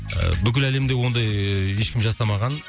ыыы бүкіл әлемде ондай ыыы ешкім жасамаған